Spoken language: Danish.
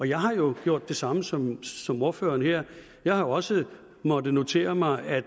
jeg har jo gjort det samme som som ordføreren her jeg har også måttet notere mig at